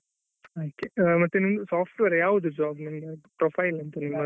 ಮತ್ತೆ ನಿಮ್ದು software ಆ ಯಾವ್ದು job ನಿಮ್ದು profile ಎಂತ ನಿಮ್ಮದು.